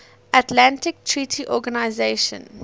atlantic treaty organisation